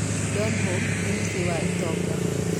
Donholm nĩ mũciĩ wa itonga.